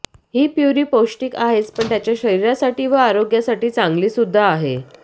हि प्युरी पौष्टिक आहेच पण त्याच्या शरीरासाठी व आरोग्यासाठी चांगली सुद्धा आहे